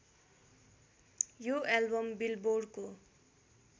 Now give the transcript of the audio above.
यो एल्बम बिलबोर्डको